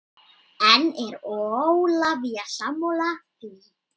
En er Ólafía sammála því?